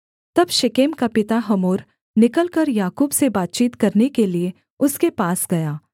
तब शेकेम का पिता हमोर निकलकर याकूब से बातचीत करने के लिये उसके पास गया